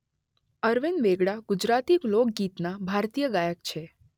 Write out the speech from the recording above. અરવિંદ વેગડા ગુજરાતી લોકગીતના ભારતીય ગાયક છે.